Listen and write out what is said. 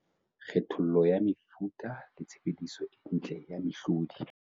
Kgethollo ya mefuta le tshebediso e ntle ya mehlodi.